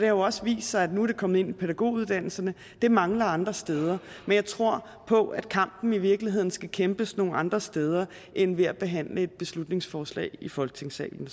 jo også vist sig at det nu er kommet ind i pædagoguddannelserne det mangler andre steder men jeg tror på at kampen i virkeligheden skal kæmpes nogle andre steder end ved at behandle et beslutningsforslag i folketingssalen